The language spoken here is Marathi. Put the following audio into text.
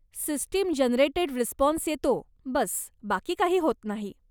सिस्टीम जनरेटेड रिस्पॉन्स येतो, बस, बाकी काही होत नाही.